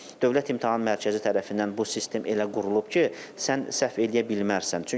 Amma Dövlət İmtahan Mərkəzi tərəfindən bu sistem elə qurulub ki, sən səhv eləyə bilməzsən.